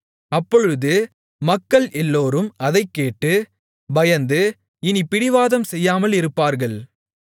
அப்பொழுது மக்கள் எல்லோரும் அதைக் கேட்டு பயந்து இனி பிடிவாதம் செய்யாமலிருப்பார்கள்